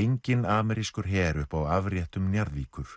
enginn amerískur her uppi á afréttum Njarðvíkur